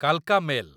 କାଲକା mail